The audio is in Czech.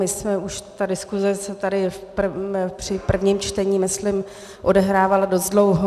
My jsme už, ta diskuse se tady při prvním čtení myslím odehrávala dost dlouho.